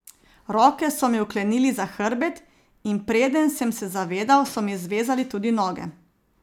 Roke so mi vklenili za hrbet, in preden sem se zavedel, so mi zvezali tudi noge.